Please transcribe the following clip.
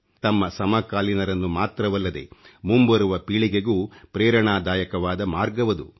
ತಮ್ಮ ಸಮಕಾಲೀನರನ್ನು ಮಾತ್ರವಲ್ಲದೆ ಮುಂಬರುವ ಪೀಳಿಗೆಗೂ ಪ್ರೇರಣಾದಾಯಕವಾದ ಮಾರ್ಗವದು